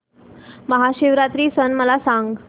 महाशिवरात्री सण मला सांग